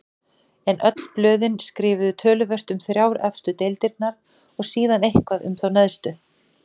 En öll blöðin skrifuðu töluvert um þrjár efstu deildirnar og síðan eitthvað um þá neðstu.